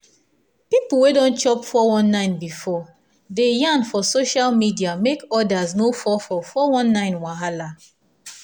people wey don chop 419 before dey yarn for social media make others no fall for 419 wahala